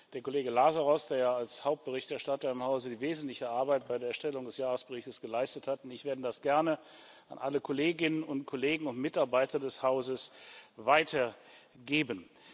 Der Kollege Lazarou, der ja als Hauptberichterstatter im Hause die wesentliche Arbeit bei der Erstellung des Jahresberichts geleistet hat, und ich werden das gerne an alle Kolleginnen und Kollegen und Mitarbeiter des Hauses weitergeben.